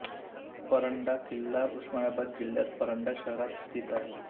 परंडा किल्ला उस्मानाबाद जिल्ह्यात परंडा शहरात स्थित आहे